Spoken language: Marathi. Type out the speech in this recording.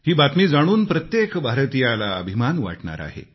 ही बातमी जाणून प्रत्येक भारतीयाला अभिमान वाटणार आहे